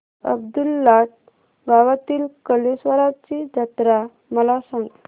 अब्दुललाट गावातील कलेश्वराची जत्रा मला सांग